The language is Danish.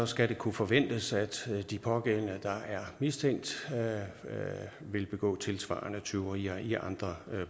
skal det kunne forventes at de pågældende der er mistænkt vil begå tilsvarende tyverier i andre